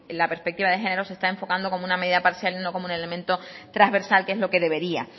la perspectiva de género se está enfocando como una medida parcial y no como un elemento transversal que es lo que debería